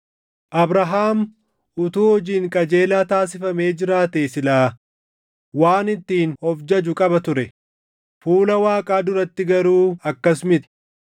Abrahaam utuu hojiin qajeelaa taasifamee jiraatee silaa waan ittiin of jaju qaba ture; fuula Waaqaa duratti garuu akkas miti.